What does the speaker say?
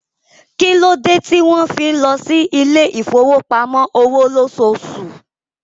Kí ló dé tí wọ́n fi ń lọ sí ilé ìfowópamọ́ òwò lóṣooṣù?